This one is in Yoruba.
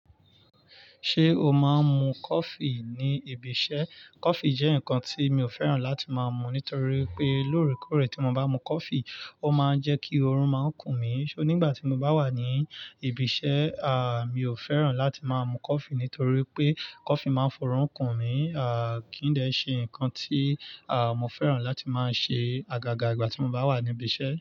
Ṣé o máa ń mu coffee ní ibi iṣẹ́? Coffee jẹ́ nǹkan tí mi ò fẹ́ràn láti máa mu nítorí pé lóòrèkóòrè tí mo bá mu coffee, ó máa ń jẹ́ kí oorun máa ń kùn mí. Ṣó nígbà tí mo bá wà ní ibi iṣẹ́, à, mi ò fẹ́ràn láti máa mu coffee nítorí pé coffee máa ń fọrun kùn mí, à, kí n dẹ́ ṣe nǹkan tí, à, mo fẹ́ràn láti máa ṣe àgàgà ìgbà tí mo bá wà ní ibi iṣẹ́.